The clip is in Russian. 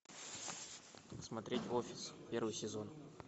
смотреть офис первый сезон